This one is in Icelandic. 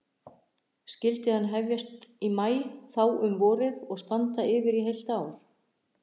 Skyldi hann hefjast í maí þá um vorið og standa yfir í heilt ár.